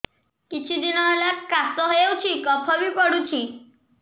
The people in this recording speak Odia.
କିଛି ଦିନହେଲା କାଶ ହେଉଛି କଫ ବି ପଡୁଛି